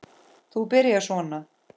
Þú byrjar svona.